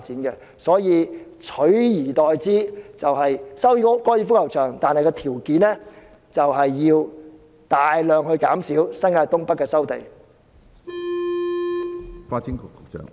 因此，取而代之的做法是，收回高爾夫球場，但條件是要大量減少新界東北的收地範圍。